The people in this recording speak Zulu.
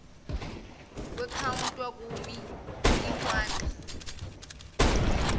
kwekhawunta kumi ihwanqa